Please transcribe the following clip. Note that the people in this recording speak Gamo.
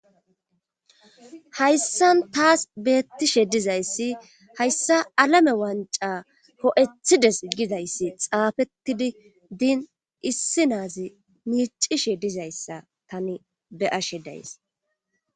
hayssan taas beettishe dizayssi hayssa alame wanca ho7ethides gizayssi xaafetidi diin issi naazi miicishe dizayssa tani be'ashe days